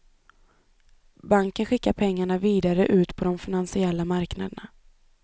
Banken skickar pengarna vidare ut på de finansiella marknaderna.